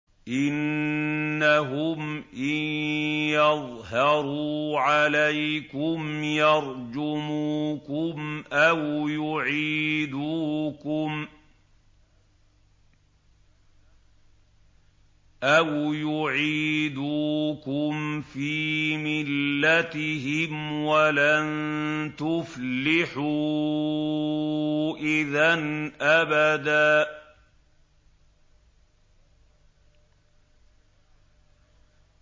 إِنَّهُمْ إِن يَظْهَرُوا عَلَيْكُمْ يَرْجُمُوكُمْ أَوْ يُعِيدُوكُمْ فِي مِلَّتِهِمْ وَلَن تُفْلِحُوا إِذًا أَبَدًا